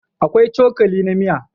Akwai cokali na miya